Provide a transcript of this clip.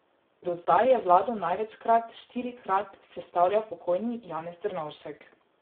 Do zdaj je vlado največkrat, štirikrat, sestavljal pokojni Janez Drnovšek.